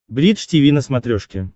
бридж тиви на смотрешке